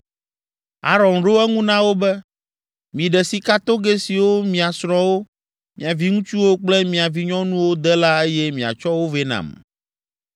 Aron ɖo eŋu na wo be, “Miɖe sikatogɛ siwo mia srɔ̃wo, mia viŋutsuwo kple mia vinyɔnuwo de la eye miatsɔ wo vɛ nam.”